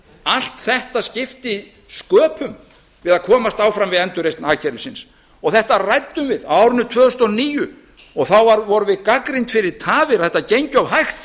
allt þetta skipti sköpum við að komast áfram við endurreisn hagkerfisins þetta ræddum við á árinu tvö þúsund og níu og þá vorum við gagnrýnd fyrir tafir að þetta gengi of hægt var